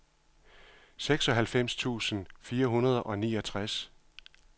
seksoghalvfems tusind fire hundrede og niogtres